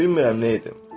Bilmirəm nə edim.